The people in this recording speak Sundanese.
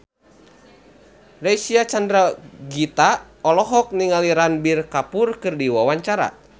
Reysa Chandragitta olohok ningali Ranbir Kapoor keur diwawancara